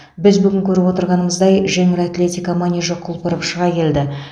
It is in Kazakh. біз бүгін көріп отырғанымыздай жеңіл атлетика манежі құлпырып шыға келді